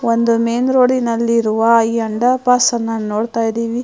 ಒಂದು ಮೇನ್ ರೋಡಿನಲ್ಲಿರುವ ಈ ಅಂಡರ್ ಪಾಸ್ ಅನ್ನ ನೋಡ್ತಾಯಿದೀವಿ.